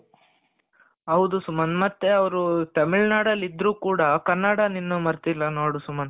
ಹೌದು ಸುಮಂತ್ ಮತ್ತೆ ಅವರು ತಮಿಳುನಾಡಲ್ಲಿ ಇದ್ದರೂ ಕೂಡ ಕನ್ನಡನ ಇನ್ನು ಮರ್ತಿಲ್ಲ ನೋಡು ಸುಮಂತ್,